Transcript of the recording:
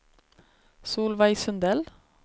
Solveig Sundell